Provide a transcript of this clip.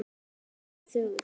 Og pabbi er þögull.